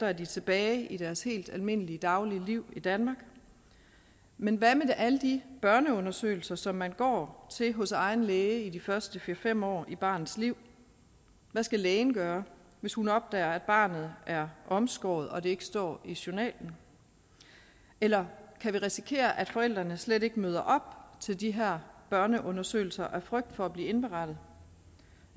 er de tilbage i deres helt almindelige daglige liv i danmark men hvad med alle de børneundersøgelser som man går til hos egen læge i de første fire fem år i barnets liv hvad skal lægen gøre hvis hun opdager at barnet er omskåret og det ikke står i journalen eller kan vi risikere at forældrene slet ikke møder op til de her børneundersøgelser af frygt for at blive indberettet